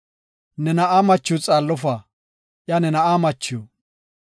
Ne na7aa machiw xaallofa; iya ne na7aa machiw.